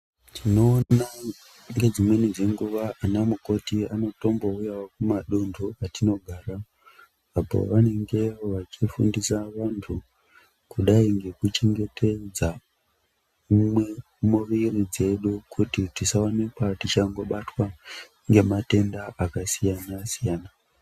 Tinoona ngedzimweni dzenguva anamukoti anotombouyavo kumadunhu kwatimogara. Apo vanenge vachifundisa vantu kudai ngekuchengetedza umwe muviri dzedu kuti tisaonekwa tichango batwa ngematenda akasiyana-siyana.